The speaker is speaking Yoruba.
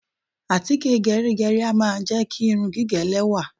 Àtíkè gẹrígẹrí a máa jẹ́ kí irun gígẹ̀ lẹ́wà.